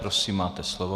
Prosím, máte slovo.